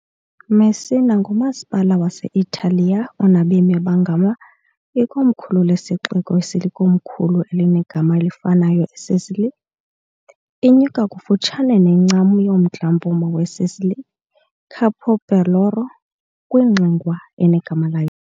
Messina ngumasipala wase-Italiya onabemi abangama ikomkhulu lesixeko esilikomkhulu elinegama elifanayo eSicily. Inyuka kufutshane nencam yomntla-mpuma weSicily Capo Peloro kwingxingwa enegama layo.